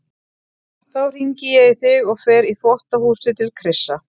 Þá hringi ég í þig og fer í þvottahúsið til Krissa.